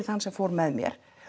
þann sem fór með mér